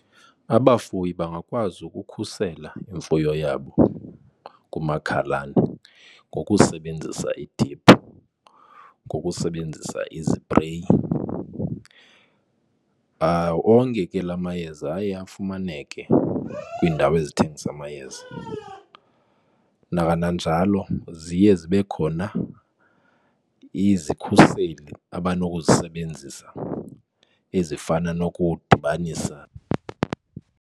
Abafuyi bangakwazi ukukhusela imfuyo yabo kumakhalane ngokusebenzisa idiphu, ngokusebenzisa izipreyi. Onke ke la mayeza aye afumaneke kwiindawo ezithengisa amayeza. Nakananjalo ziye zibe khona izikhuseli abanokuzisebenzisa ezifana nokudibanisa.